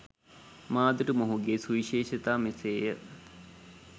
මා දුටු මොහුගේ සුවිශේෂතා මෙසේය